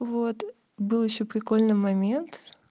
вот был ещё прикольный момент